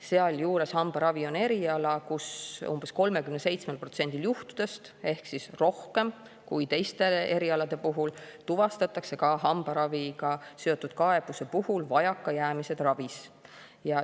Sealjuures hambaravi on eriala, kus umbes 37%-l juhtudest ehk rohkem kui teiste erialade puhul, ka tuvastatakse hambaraviga seotud kaebuste puhul vajakajäämised ravis.